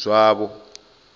zwavho